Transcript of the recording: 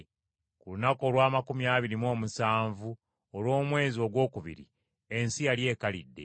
Ku lunaku olw’amakumi abiri mu omusanvu olw’omwezi ogwokubiri ensi yali ekalidde.